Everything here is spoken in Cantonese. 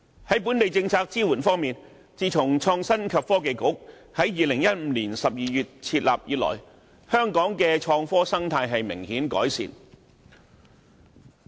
至於本港的政策支援方面，自從創新及科技局在2015年12月設立以來，香港對創科的心態已有明顯改善。